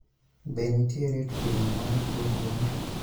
Be nitiere pimo mar tuo gund ?